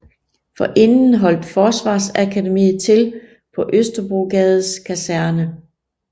Forinden holdt Forsvarsakademiet til på Østerbrogades Kaserne